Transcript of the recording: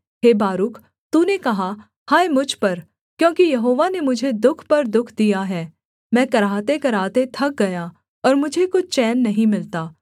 हे Baruch तूने कहा हाय मुझ पर क्योंकि यहोवा ने मुझे दुःख पर दुःख दिया है मैं कराहतेकराहते थक गया और मुझे कुछ चैन नहीं मिलता